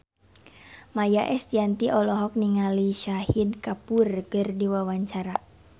Maia Estianty olohok ningali Shahid Kapoor keur diwawancara